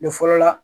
Ne fɔlɔ la